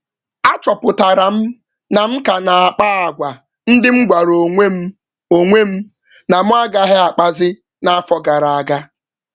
M jidere onwe m na-emegharị omume m kwere nkwa na m ga-akwụsị n’afọ gara aga.